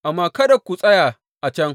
Amma kada ku tsaya a can!